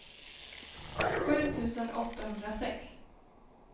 sju tusen åttahundrasex